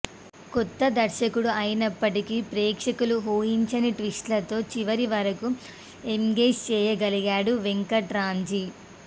కొత్త దర్శకుడైనప్పటికీ ప్రేక్షకులు ఊహించని ట్విస్టులతో చివరి వరకూ ఎంగేజ్ చేయగలిగాడు వెంకట్ రాంజీ